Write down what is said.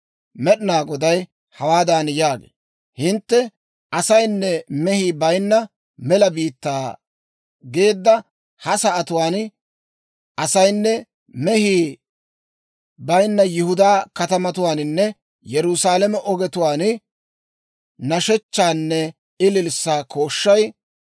Med'inaa Goday hawaadan yaagee; «Hintte, ‹Asayinne mehii bayinna mela biittaa› geedda ha sa'atuwaan, asaynne mehii bayinna Yihudaa katamatuwaaninne Yerusaalame ogetuwaan, nashshechchaanne ililssaa kooshshay,